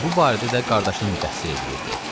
Və bu barədə də qardaşını məzəmmət eləyirdi.